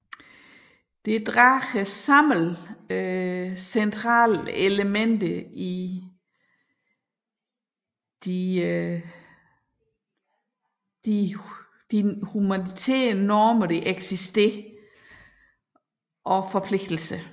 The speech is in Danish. Det sammendrager centrale elementer i eksisterende humanitære normer og forpligtelser